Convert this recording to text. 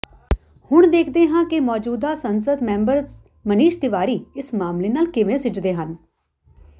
ਹੁਣ ਦੇਖਦੇ ਹਾਂ ਕਿ ਮੌਜੂਦਾ ਸੰਸਦ ਮੈਂਬਰ ਮਨੀਸ਼ ਤਿਵਾੜੀ ਇਸ ਮਾਮਲੇ ਨਾਲ ਕਿਵੇਂ ਸਿੱਝਦੇ ਹਨ